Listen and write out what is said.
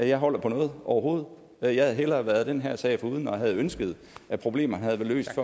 jeg holder på noget overhovedet jeg havde hellere været den her sag foruden og havde ønsket at problemerne havde været løst